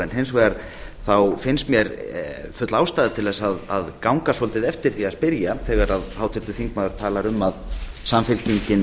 hins vegar finnst mér full ástæða til þess að ganga svolítið eftir því að spyrja þegar háttvirtur þingmaður talar um að samfylkingin